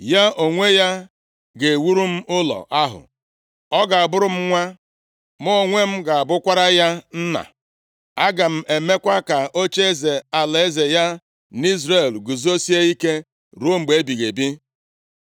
Ya onwe ya ga-ewuru m ụlọ ahụ. Ọ ga-abụrụ m nwa, mụ onwe m ga-abụkwara ya nna. Aga m emekwa ka ocheeze alaeze ya nʼIzrel guzosie ike ruo mgbe ebighị ebi.’